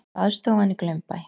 Baðstofan í Glaumbæ.